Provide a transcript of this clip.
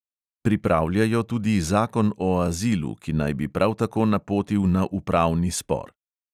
Pripravljajo tudi zakon o azilu, ki naj bi prav tako napotil na upravni spor.